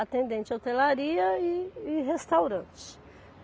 atendente de hotelaria e e restaurante.